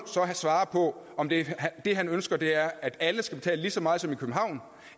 svare på om det han ønsker er at alle skal betale lige så meget som dem i københavn